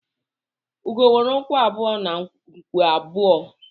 Ugo nwere ụkwụ abụọ na nku abụọ